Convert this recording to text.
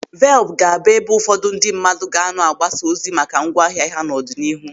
Velup ga-abụ ebe ụfọdụ ndị mmadụ ga-anọ agbasa ozi maka ngwa ahịa ha n'ọdịnihu.